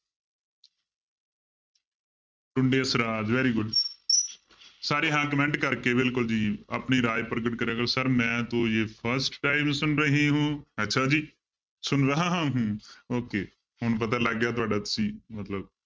ਟੁੰਡੇ ਅਸਰਾਜ very good ਸਾਰੇ ਹਾਂ comment ਕਰਕੇ ਬਿਲਕੁਲ ਜੀ ਆਪਣੀ ਰਾਏ ਪ੍ਰਗਟ ਕਰਿਆ ਕਰੋ sir ਮੈਂ ਤੋ ਜੇ first time ਸੁਨ ਰਹੀ ਹੂੰ, ਅੱਛਾ ਜੀ ਸੁਨ ਰਹਾ ਹੂੰ okay ਹੁਣ ਪਤਾ ਲੱਗ ਗਿਆ ਤੁਹਾਡਾ ਮਤਲਬ